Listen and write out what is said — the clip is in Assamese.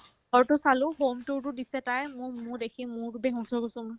ঘৰতো চালো home tour তো দিছে তাই মোৰ মোৰ দেখিয়ে মূৰতো বেহুছ হৈ গৈছো মই